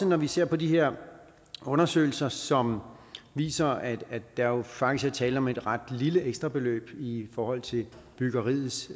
når vi ser på de her undersøgelser som viser at der jo faktisk er tale om et ret lille ekstrabeløb i forhold til byggeriets